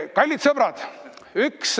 Kallid sõbrad!